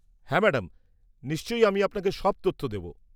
হ্যাঁ ম্যাডাম, নিশ্চয় আমি আপনাকে সব তথ্য দেব।